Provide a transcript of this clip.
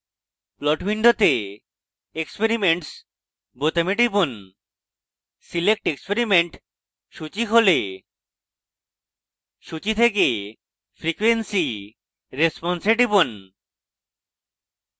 plot window experiments বোতামে টিপুন select experiment সূচী খোলে সূচী থেকে frequency response এ টিপুন